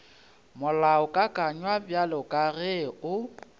molaokakanywa bjalo ka ge o